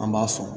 An b'a fɔ